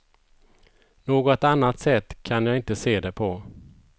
Något annat sätt kan jag inte se det på.